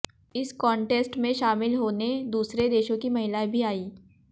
इस कॉन्टेस्ट में शामिल होने दूसरे देशों की महिलाएं भी आईं